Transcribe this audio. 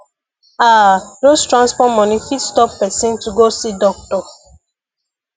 ah just transport money fit stop person to go see doctor